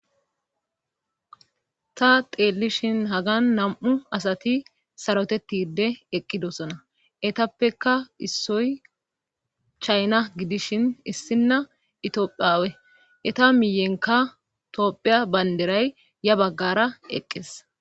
ta teellishin hagan nam7u asati sarotetide eqqidosona etappeka issoy chayna gidishin issinna itiophiawe eta miyenka toophiya baynderay ya baggara eqqes